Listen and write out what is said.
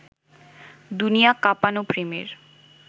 দুনিয়া কাঁপানো প্রেমের